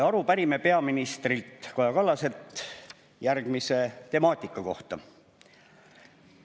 Aru pärime peaminister Kaja Kallaselt järgmise temaatika kohta.